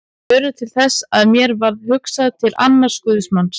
Þau urðu til þess að mér varð hugsað til annars guðsmanns.